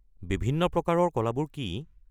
বিভিন্ন প্ৰকাৰৰ কলাবোৰ কি?